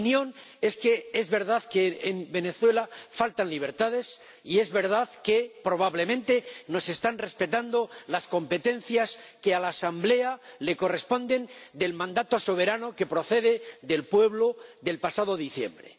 Mi opinión es que es verdad que en Venezuela faltan libertades y es verdad que, probablemente, no se están respetando las competencias que a la Asamblea le corresponden en virtud del mandato soberano que le otorgó el pueblo el pasado diciembre.